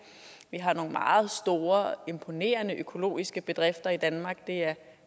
vi har nogle meget store og imponerende økologiske bedrifter i danmark det er